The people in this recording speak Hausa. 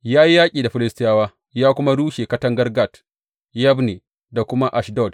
Ya yi yaƙi da Filistiyawa ya kuma rushe katangar Gat, Yabne da kuma Ashdod.